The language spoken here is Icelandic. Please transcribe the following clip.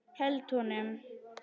Held honum.